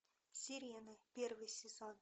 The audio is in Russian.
сирены первый сезон